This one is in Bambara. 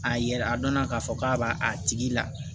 A yɛrɛ a dɔnna k'a fɔ k'a b'a tigi la